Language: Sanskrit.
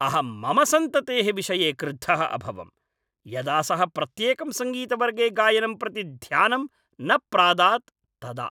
अहं मम सन्ततेः विषये क्रुद्धः अभवम् यदा सः प्रत्येकं सङ्गीतवर्गे गायनं प्रति ध्यानं न प्रादात् तदा।